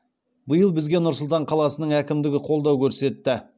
биыл бізге нұр сұлтан қаласының әкімдігі қолдау көрсетті